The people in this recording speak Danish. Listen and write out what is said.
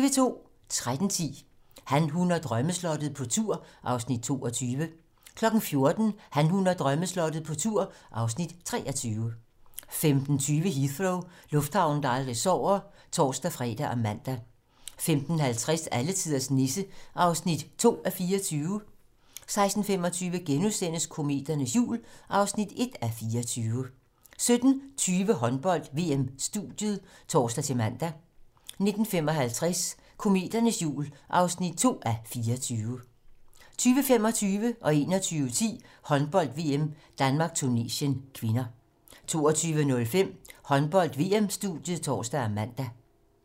13:10: Han, hun og drømmeslottet - på tur (Afs. 22) 14:00: Han, hun og drømmeslottet - på tur (Afs. 23) 15:20: Heathrow - lufthavnen, der aldrig sover (tor-fre og man) 15:50: Alletiders Nisse (2:24) 16:25: Kometernes jul (1:24)* 17:20: Håndbold: VM-studiet (tor-man) 19:55: Kometernes jul (2:24) 20:25: Håndbold: VM - Danmark-Tunesien (k) 21:10: Håndbold: VM - Danmark-Tunesien (k) 22:05: Håndbold: VM-studiet (tor og man)